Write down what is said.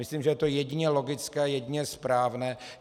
Myslím, že je to jedině logické, jedině správné.